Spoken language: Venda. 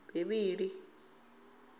bivhili